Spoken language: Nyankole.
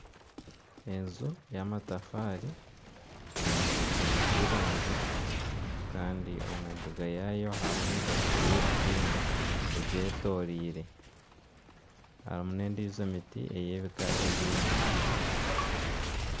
Enju y'amatafaari eyombekyire nk'iramizo kandi omu mbuga yaayo harimu emiti y'ebikindo egyetoreire. Harimu n'endijo emiti eyebika ebindi.